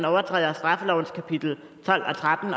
overtræder straffelovens kapitel tolv og tretten